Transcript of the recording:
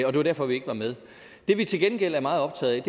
og det var derfor vi ikke var med det vi til gengæld er meget optaget